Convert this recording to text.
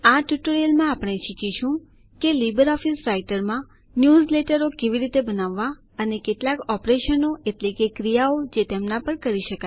આ ટ્યુટોરિયલમાં આપણે શીખીશું કે લીબર ઓફીસ રાઈટરમાં ન્યૂઝલેટરો કેવી રીતે બનાવવા અને કેટલાક ઓપરેશન એટલે કે ક્રિયાઓ જે તેમના પર કરી શકાય